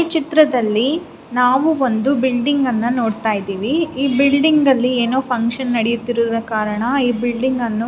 ಈ ಚಿತ್ರದಲ್ಲಿ ನಾವು ಒಂದು ಬಿಲ್ಡಿಂಗ್ ಅನ್ನ ನೋಡತಾ ಇದ್ದಿವಿ ಈ ಬಿಲ್ಡಿಂಗ್ ಅಲ್ಲಿ ಫ್ಯಾಂಕ್ಷನ್ ನಡೆಯುತ್ತಿರುವ ಕರಣ ಈ ಬಿಲ್ಡಿಂಗ್ ಅನ್ನು--